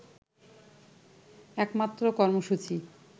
একমাত্র কর্মসূচি